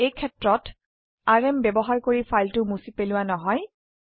এই সেত্ৰত আৰএম ব্যবহাৰ কৰি ফাইলটো মুছি পেলোৱা নহয়